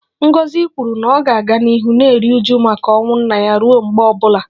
Ngozi kwuru na ọ ga-aga n'ihu na-eru uju maka ọnwụ nna ya ruo mgbe ọ bụla